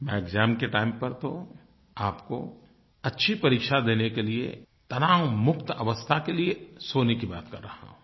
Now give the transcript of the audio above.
मैं एक्साम के टाइम पर तो आपको अच्छी परीक्षा देने के लिए तनावमुक्त अवस्था के लिए सोने की बात कर रहा हूँ